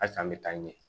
Hali san an bɛ taa ɲɛ